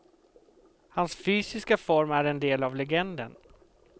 Hans fysiska form är en del av legenden.